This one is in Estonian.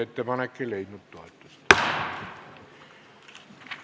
Ettepanek ei leidnud toetust.